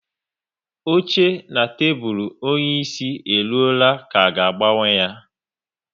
Oche na tebụl onyeisi e ruola ka a ga-agbanwe ya